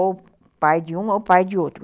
ou pai de um ou pai de outro.